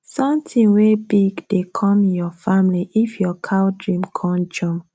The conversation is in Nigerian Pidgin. sonthing wey big dey com your family if your cow dream con jump